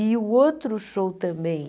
E o outro show também...